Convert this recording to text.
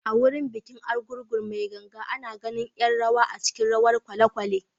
A wurin bikin Argungu mai ganga, ana ganin ’yan rawa a cikin rawar kwalekwale.